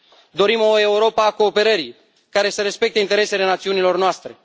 Dorim o Europă a cooperării, care să respecte interesele națiunilor noastre.